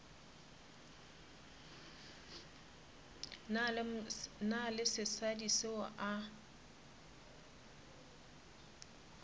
na le sesadi seo a